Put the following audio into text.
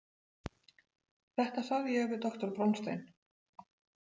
Þetta sagði ég við doktor Bronstein.